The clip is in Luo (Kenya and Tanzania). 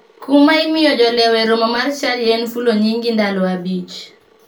Kum ma imiyo jolewo e romo mar chadi en fulo nyingi ndalo abich.